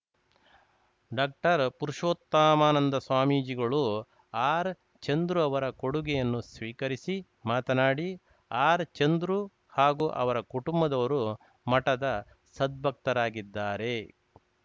doctor Purushottamananda ಸ್ವಾಮೀಜಿಗಳು ಆರ್‌ಚಂದ್ರುಅವರ ಕೊಡುಗೆಯನ್ನು ಸ್ವೀಕರಿಸಿ ಮಾತನಾಡಿ ಆರ್‌ಚಂದ್ರು ಹಾಗೂ ಅವರ ಕುಟುಂಬದವರು ಮಠದ ಸದ್ಭಕ್ತರಾಗಿದ್ದಾರೆ